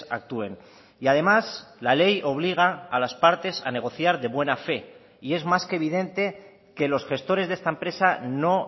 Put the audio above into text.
actúen y además la ley obliga a las partes a negociar de buena fe y es más que evidente que los gestores de esta empresa no